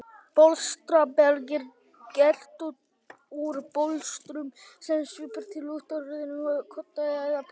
Bólstraberg er gert úr bólstrum sem svipar til úttroðinna kodda eða poka.